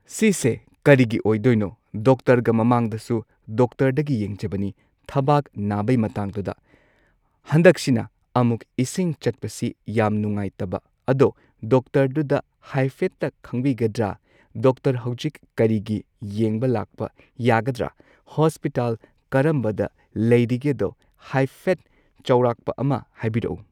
ꯁꯤꯁꯦ ꯀꯔꯤꯒꯤ ꯑꯣꯏꯗꯣꯏꯅꯣ ꯗꯣꯛꯇꯔꯒ ꯃꯃꯥꯡꯗꯁꯨ ꯗꯣꯛꯇꯔꯗꯒꯤ ꯌꯦꯡꯖꯕꯅꯤ ꯊꯕꯥꯛ ꯅꯥꯕꯩ ꯃꯇꯥꯡꯗꯨꯗ ꯍꯟꯗꯛꯁꯤꯅ ꯑꯃꯨꯛ ꯏꯁꯤꯡ ꯆꯠꯄꯁꯤ ꯌꯥꯝ ꯅꯨꯡꯉꯥꯏꯇꯕ ꯑꯗꯣ ꯗꯣꯛꯇꯔꯗꯨꯗ ꯍꯥꯏꯐꯦꯠꯇ ꯈꯪꯕꯤꯒꯗ꯭ꯔꯥ꯫ ꯗꯣꯛꯇꯔ ꯍꯧꯖꯤꯛ ꯀꯔꯤ ꯒꯤ ꯌꯦꯡꯕ ꯂꯥꯛꯄ ꯌꯥꯒꯗ꯭ꯔꯥ ꯍꯣꯁꯄꯤꯇꯥꯜ ꯀꯔꯝꯕꯗ ꯂꯩꯔꯤꯒꯦꯗꯣ ꯍꯥꯏꯐꯦꯠ ꯆꯥꯎꯔꯥꯛꯄ ꯑꯃ ꯍꯥꯏꯕꯤꯔꯛꯎ꯫